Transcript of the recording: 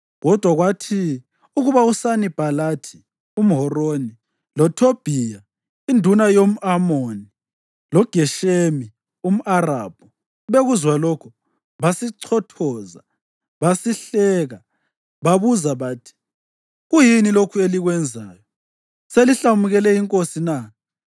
Kodwa kwathi ukuba uSanibhalathi umHoroni, loThobhiya induna yomʼAmoni loGeshemi umArabhu bekuzwa lokho, basichithoza basihleka. Babuza bathi, “Kuyini lokhu elikwenzayo. Selihlamukele inkosi na?”